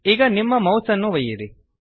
ಈಗ ನಿಮ್ಮ ಮೌಸ್ಅನ್ನು ಒಯ್ಯಿರಿ